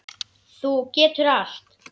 Þú getur allt.